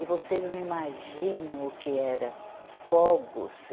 E vocês não imaginam o que era fogos.